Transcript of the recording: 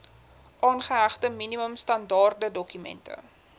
aangehegte minimum standaardedokument